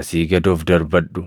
asii gad of darbadhu.